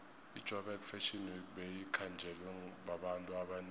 ijoburg fashion week beyikhanjelwe babantu abanengi